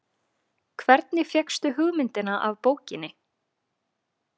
Hvernig fékkstu hugmyndina af bókinni?